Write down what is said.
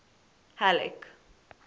halleck